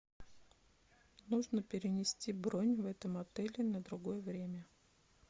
нужно перенести бронь в этом отеле на другое время